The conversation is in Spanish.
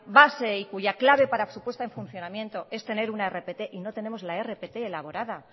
base y cuya clave para su puesta en funcionamiento es tener una rpt y no tenemos la rpt elaborada